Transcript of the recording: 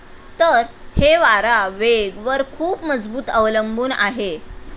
तर, हे वारा वेग वर खूप मजबूत अवलंबून आहे.